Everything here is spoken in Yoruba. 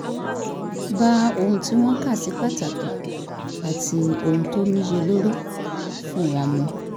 bá ohun tí wọ́n kà sí pàtàkì àti ohun tó níyelórí fún wọn mu